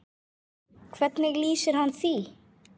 Hvernig lýsir hann því?